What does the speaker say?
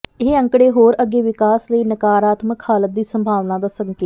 ਇਹ ਅੰਕੜੇ ਹੋਰ ਅੱਗੇ ਵਿਕਾਸ ਲਈ ਨਕਾਰਾਤਮਕ ਹਾਲਾਤ ਦੀ ਸੰਭਾਵਨਾ ਦਾ ਸੰਕੇਤ